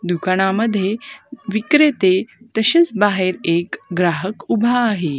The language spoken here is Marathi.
दुकानांमध्ये विक्रेते तसेच बाहेर एक ग्राहक उभा आहे.